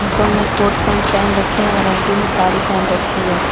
Uncle ने coat pant पहन रखे और आंटी ने साड़ी पहन रखी है।